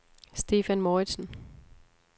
Stephan Mouridsen